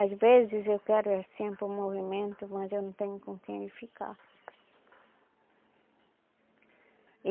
Às vezes eu quero é sempre um movimento, mas eu não tenho com quem ele ficar.